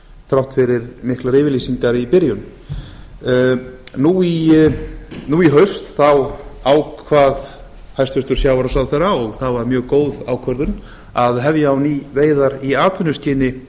þrátt fyrir miklar yfirlýsingar í byrjun nú í haust ákvað hæstvirtur sjávarútvegsráðherra og það var mjög góð ákvörðun að hefja á ný veiðar í atvinnuskyni